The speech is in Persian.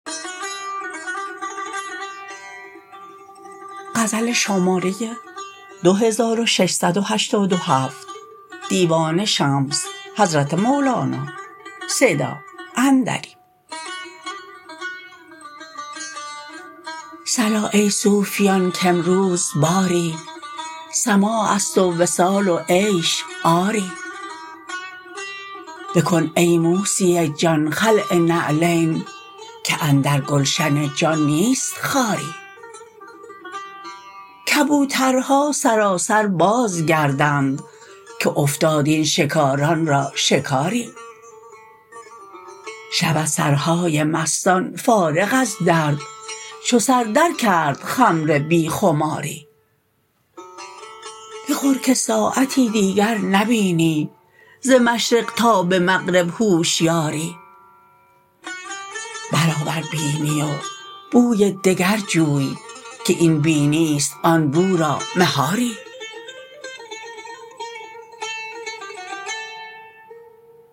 صلا ای صوفیان کامروز باری سماع است و وصال و عیش آری بکن ای موسی جان خلع نعلین که اندر گلشن جان نیست خاری کبوترها سراسر باز گردند که افتاد این شکاران را شکاری شود سرهای مستان فارغ از درد چو سر درکرد خمر بی خماری بخور که ساعتی دیگر نبینی ز مشرق تا به مغرب هوشیاری برآور بینی و بوی دگر جوی که این بینی است آن بو را مهاری